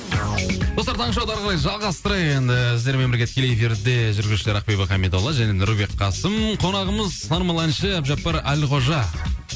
достар таңғы шоуды әр қарай жалғастырайық енді сіздермен бірге тікелей эфирде жүргізушілер ақбибі хамидолла және нұрбек қасым қонағымыз танымал әнші әбдіжаппар әлқожа